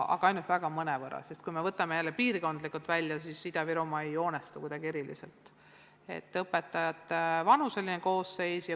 Aga ainult mõnevõrra, sest kui me vaatame jälle piirkondlikult, siis õpetajate vanuseline koosseis Ida-Virumaal ei joonistu kuidagi eriliselt.